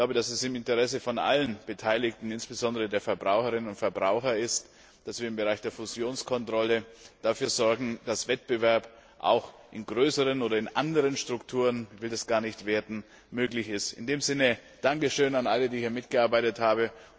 Es ist im Interesse aller Beteiligten, insbesondere der Verbraucherinnen und Verbraucher, dass wir im Bereich der Fusionskontrolle dafür sorgen, dass Wettbewerb auch in größeren oder in anderen Strukturen ich will das gar nicht werten möglich ist. In diesem Sinne Danke schön an alle, die hier mitgearbeitet haben!